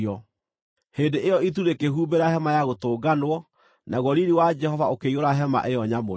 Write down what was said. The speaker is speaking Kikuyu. Hĩndĩ ĩyo itu rĩkĩhumbĩra Hema-ya-Gũtũnganwo, naguo riiri wa Jehova ũkĩiyũra hema ĩyo nyamũre.